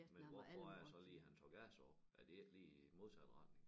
Men hvorfor er det så lige han tager gas op er det ikke lige modsat retning